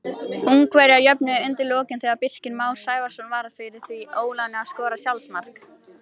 Ungverjar jöfnuðu undir lokin þegar Birkir Már Sævarsson varð fyrir því óláni að skora sjálfsmark.